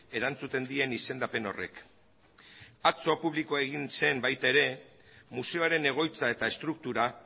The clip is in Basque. erantzuten dien izendapen horrek atzo publiko egin zen baita ere museoaren egoitza eta estruktura